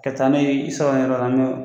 Ka taa n'o ye i sakona yɔrɔw la.